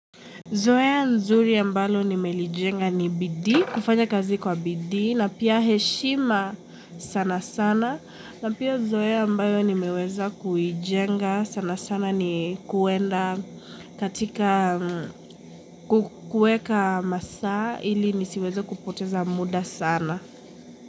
Zoea nzuri ambalo nimelijenga ni bidii, kufanya kazi kwa bidii, na pia heshima sana sana, na pia zoya ambayo nimeweza kuijenga sanasana ni kuenda katika kukueka masaa, ili nisiweze kupoteza muda sana.